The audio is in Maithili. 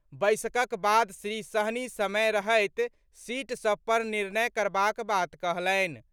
बैसकक बाद श्री सहनी समय रहैत सीट सभ पर निर्णय करबाक बात कहलनि।